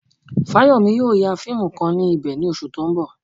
Fáyọ̀mí yóò ya fíìmù kan ní ibẹ̀ ní oṣù tó ń bọ̀.